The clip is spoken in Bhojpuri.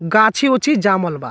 गाछी-ओछी जामल बा।